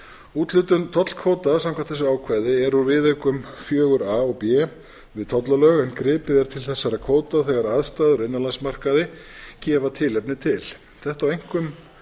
úthlutun tollkvóta samkvæmt þessu ákvæði er úr viðaukum fjögur a og b við tollalög en gripið er til þessara kvóta þegar aðstæður á innanlandsmarkaði gefa tilefni til þetta á einkum